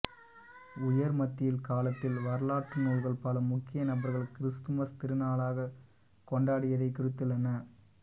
உயர் மத்திய காலத்தில் வரலாற்று நூல்கள் பல முக்கிய நபர்கள் கிறிஸ்துமஸ் திருநாளைக் கொண்டாடியதை குறித்துள்ளன